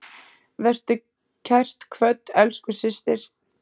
Vertu kært kvödd, elsku systir.